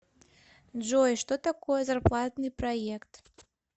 джой что такое зарплатный проект